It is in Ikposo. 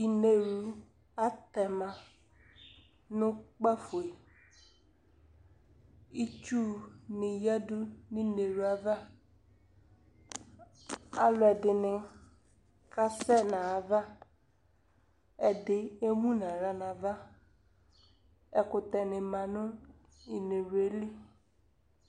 Inewlu atɛma nʋ kpafo e Itsu ni yadu nʋ inewlu yɛ ava Alʋ ɛdini kasɛ nʋ ayava Ɛdi emu nʋ aɣla nava Ɛkʋtɛ ni ma nʋ inewlu yɛ li